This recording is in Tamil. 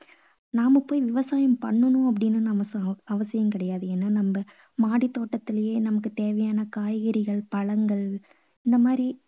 நாம போய் விவசாயம் பண்ணணும் அப்படின்னு நமக்கு அவசியம் கிடையாது. ஏன்னா நம்ம மாடித் தோட்டத்துலேயே நமக்கு தேவையான காய்கறிகள், பழங்கள் இந்த மாதிரி